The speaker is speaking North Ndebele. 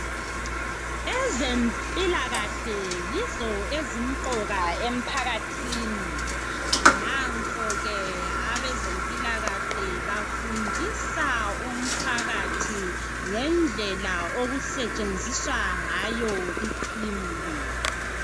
Ezempilakahle yizo ezimqoka emphakathini nankoke abezempilakahle bafundisa umphakathi ngendlela okutshenziswa ngayo I cream le